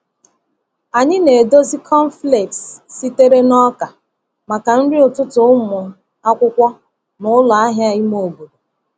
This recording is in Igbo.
Anyị na-edozi cornflakes sitere n’ọka maka nri ụtụtụ ụmụ akwụkwọ na ụlọ ahịa ime obodo.